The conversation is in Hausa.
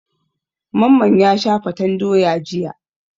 Mamman ya sha fatan doya jiya.